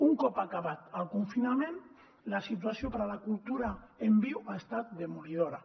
un cop acabat el confinament la situació per a la cultura en viu ha estat demolidora